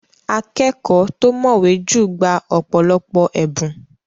Akẹ́kọ̀ọ́ tó mọ̀wẹ́ jù gba ọ̀pọ̀lọpọ̀ ẹ̀bùn.